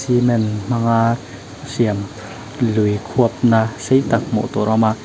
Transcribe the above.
cement hmanga siam lui khuap na sei tak hmuh tur a awm a.